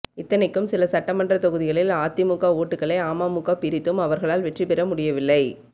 இத்தனைக்கும் சில சட்டமன்ற தொகுதிகளில் அதிமுக ஓட்டுகளை அமமுக பிரித்தும் அவர்களால் வெற்றிப் பெற முடியவில்லை